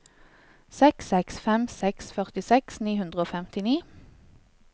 seks seks fem seks førtiseks ni hundre og femtini